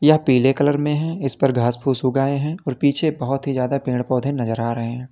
यह पीले कलर में है इस पर घास फूस उग आये हैं और पीछे बहोत ही ज्यादा पेड़ पौधे नजर आ रहे हैं।